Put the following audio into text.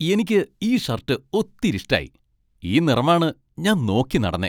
എനിക്ക് ഈ ഷർട്ട് ഒത്തിരി ഇഷ്ടായി. ഈ നിറമാണ് ഞാൻ നോക്കിനടന്നേ.